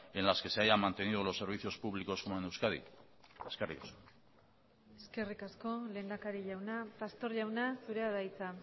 en las que se hayan mantenido los servicios públicos como en euskadi eskerrik asko eskerrik asko lehendakari jauna pastor jauna zurea da hitza